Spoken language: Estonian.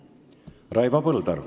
Raivo Põldaru.